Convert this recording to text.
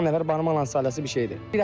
Beş-on nəfər barmaqla sayılan isə bir şeydir.